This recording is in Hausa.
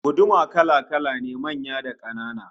Guduma kala-kala ne, manya da kanana